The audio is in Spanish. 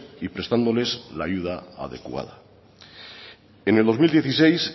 y prestándoles la ayuda adecuada en el dos mil dieciséis